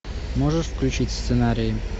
можешь включить сценарий